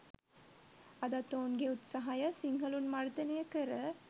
අදත් ඔවුන්ගේ උත්සහය සිංහලුන් මර්දනය කර